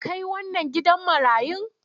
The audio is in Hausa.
Kai wannan gidan marayu!